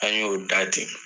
An y'o da ten